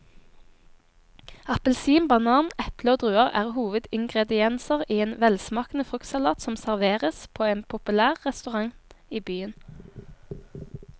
Appelsin, banan, eple og druer er hovedingredienser i en velsmakende fruktsalat som serveres på en populær restaurant i byen.